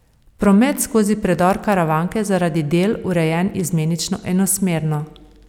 Promet skozi predor Karavanke je zaradi del urejen izmenično enosmerno.